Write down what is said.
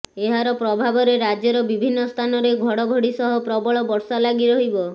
ଏହାର ପ୍ରଭାବରେ ରାଜ୍ୟର ବିଭିନ୍ନ ସ୍ଥାନରେ ଘଡ଼ଘଡ଼ି ସହ ପ୍ରବଳ ବର୍ଷା ଲାଗିରହିବ